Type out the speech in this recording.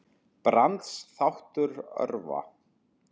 Brands þáttur örva